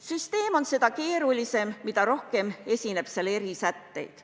Süsteem on seda keerulisem, mida rohkem esineb seal erisätteid.